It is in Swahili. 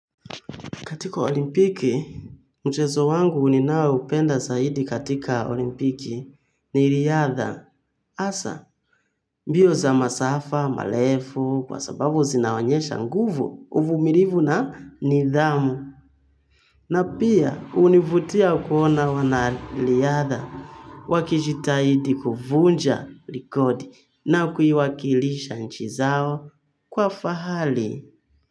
Katika olimpiki, mchezo wangu ninaoupenda zaidi katika olimpiki ni riadha. Hasa, mbio za masafa, malefu, kwa sababu zinaonyesha nguvu, uvumirivu na nidhamu. Na pia, hunivutia kuona wanariadha wakijitahidi kuvunja likodi na kuiwakilisha nchi zao kwa fahali.